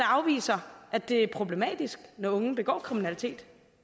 afviser at det er problematisk når unge begår kriminalitet